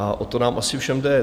A o to nám asi všem jde.